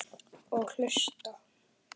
Og hlusta.